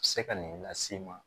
Se ka nin las'i ma